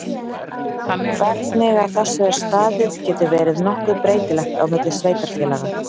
Hvernig að þessu er staðið getur verið nokkuð breytilegt á milli sveitarfélaga.